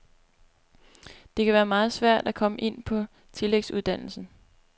Det kan være meget svært at komme ind på tillægsuddannelsen.